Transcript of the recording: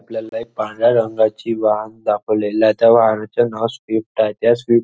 आपल्याला एक पांढऱ्या रंगाची वाहन दाखवलेला आहे त्या वाहनाचे नाव स्विफ्ट आहे त्या स्विफ्ट --